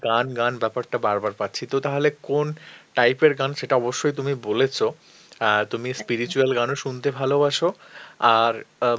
গান, গান ব্যাপারটা বার বার পাচ্ছি তো তাহলে কোন type এর গান সেটা অবশ্যই তুমি বলেছ অ্যাঁ তুমি spiritual গানও শুনতে ভালোবাসো আর অ্যাঁ